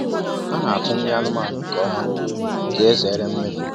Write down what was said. A na-atụ nri anụmanụ nke ọma ka e zere mmefu.